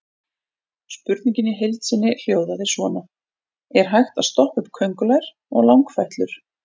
Spurningin í heild sinni hljóðaði svona: Er hægt að stoppa upp köngulær og langfætlur?